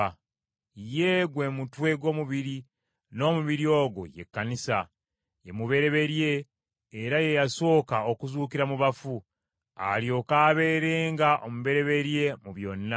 Ye gwe mutwe gw’omubiri, n’omubiri ogwo ye Kkanisa. Ye mubereberye, era ye yasooka okuzuukira mu bafu, alyoke abeerenga omubereberye mu byonna.